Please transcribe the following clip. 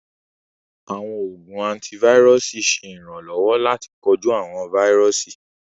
Àwọn oogun antivirusi ṣẹ iránlọwọ̀ lati koju awọn vírùsì